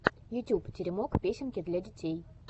ютюб теремок песенки для детей